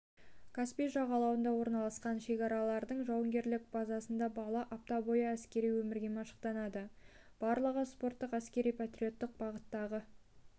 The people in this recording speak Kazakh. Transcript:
каспий жағалауында орналасқан шекарашылардың жауынгерлік базасында бала апта бойы әскери өмірге машықтанады барлығы спорттық әскери-патриоттық бағыттағы